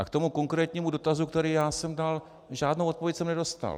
A k tomu konkrétnímu dotazu, který já jsem dal, žádnou odpověď jsem nedostal.